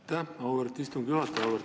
Aitäh, auväärt istungi juhataja!